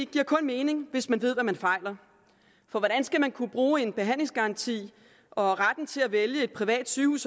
giver kun mening hvis man ved hvad man fejler for hvordan skal man kunne bruge en behandlingsgaranti og retten til at vælge et privat sygehus